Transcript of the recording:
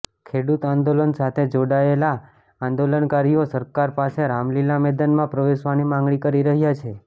ખેડૂત આંદોલન સાથે જોડાયેલા આંદોલનકારીઓ સરકાર પાસે રામલીલા મેદાનમાં પ્રવેશવાની માગણી કરી રહ્યા છે